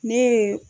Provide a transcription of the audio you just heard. Ne ye